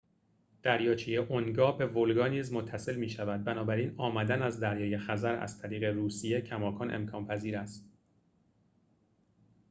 دریاچه اونگا به ولگا نیز وصل می‌شود بنابراین آمدن از دریای خزر از طریق روسیه کماکان امکان پذیر است